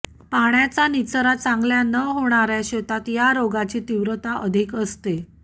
पाण्याचा निचरा चांगल्या न होणाऱ्या शेतात या रोगाची तीव्रता अधिक असते